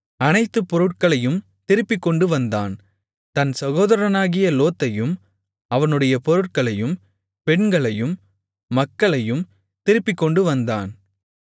அனைத்து பொருட்களையும் திருப்பிக்கொண்டுவந்தான் தன் சகோதரனாகிய லோத்தையும் அவனுடைய பொருட்களையும் பெண்களையும் மக்களையும் திருப்பிக்கொண்டுவந்தான்